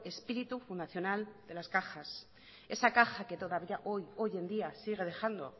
espíritu fundacional de las cajas esa caja que todavía hoy en día sigue dejando